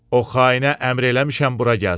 O xainə əmr eləmişəm bura gəlsin.